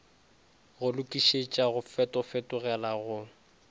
go lokišetša go fetofetogale go